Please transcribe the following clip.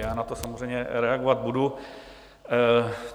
Já na to samozřejmě reagovat budu.